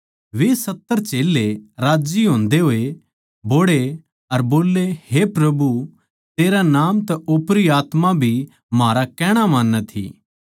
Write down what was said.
वे सत्तर चेल्लें राज्जी होंदे होए बोहड़े अर बोल्ले हे प्रभु तेरै नाम तै ओपरी आत्मा भी म्हारा कहणा मान्नै थी